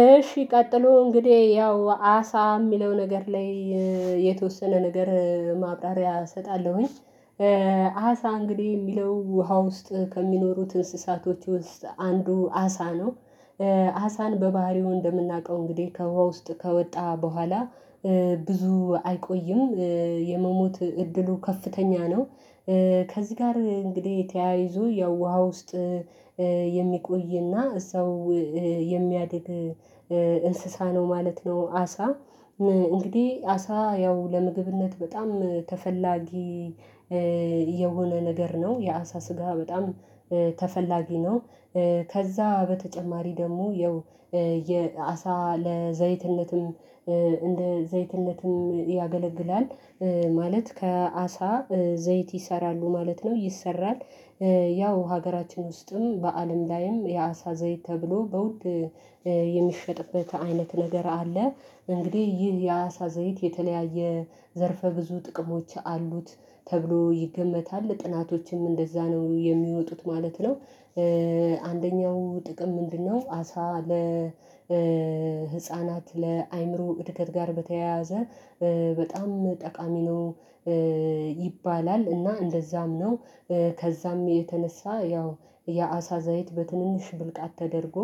እሺ ቀጥሎ እንግዲህ ያው አሳ የሚለው ነገር ላይ የተወሰነ ነገር ማብራሪያ እሰጣለሁኝ አሳ እንግዲህ የሚለው ውሃ ውስጥ ከሚኖሩት እንስሳቶች ውስጥ አንዱ አሳ ነው አሳን በባህሪው እንደምናውቀው እንግዲህ ከውሃ ውስጥ ከወጣ በኋላ ብዙ አይቆይም የመሞት እድሉ ከፍተኛ ነው ከዚህ ጋር እንግዲህ ተያይዞ ያው ውሃ ውስጥ የሚቆይና ሰው የሚያድግ እንስሳ ነው ማለት ነው አሳ እንግዲህ አሳ ያው ለምግብነት በጣም ተፈላጊ የሆነ ነገር ነው የአሳ ስጋ በጣም ተፈላጊ ነው ከዛ በተጨማሪ ደግሞ ያው የአሳ ለዘይትነትም እንደ ዘይትነትም ያገለግላል ማለት ከአሳ ዘይት ይሰራሉ ማለት ነው ይሰራል ያው ሀገራችን ውስጥም በአለም ላይም የአሳ ዘይት ተብሎ በውድ የሚሸጥበት አይነት ነገር አለ እንግዲህ ይህ የአሳ ዘይት የተለያየ ዘርፈ ብዙ ጥቅሞች አሉት ተብሎ ይገመታል ጥናቶችም እንደዛ ነው የሚወጡት ማለት ነው አንደኛው ጥቅም ምንድነው አሳ ለ ለህፃናት ለአእምሮ እድገት ጋር በተያያዘ በጣም ጠቃሚ ነው ይባላል እና እንደዛም ነው ከዛም የተነሳ ያው የአሳ ዘይት በትንንሽ ብርቃት ተደርጎ